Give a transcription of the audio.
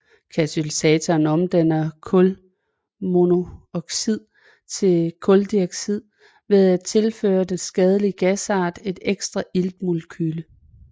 Katalysatoren omdanner kulmonooxid til kuldioxid ved at tilføre den skadelige gasart et ekstra iltmolekyle